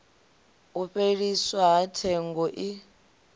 u fheliswa ha tsengo i